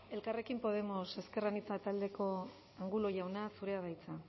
elkarrekin podemos ezker anitza taldeko angulo jauna zurea da hitza